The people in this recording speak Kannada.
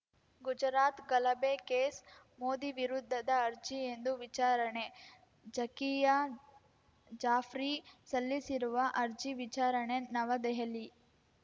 ಗುಜರಾತ್‌ ಗಲಭೆ ಕೇಸ್‌ ಮೋದಿ ವಿರುದ್ಧದ ಅರ್ಜಿ ಇಂದು ವಿಚಾರಣೆ ಝಾಕಿಯಾ ಜಾಫ್ರಿ ಸಲ್ಲಿಸಿರುವ ಅರ್ಜಿ ವಿಚಾರಣೆ ನವದೆಹಲಿ